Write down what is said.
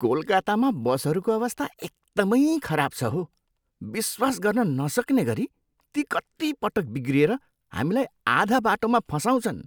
कोलकातामा बसहरूको अवस्था एकदमै खराब छ हो! विश्वास गर्न नसक्ने गरी ती कतिपटक बिग्रिएर हामीलाई आधा बाटोमा फसाउछन्।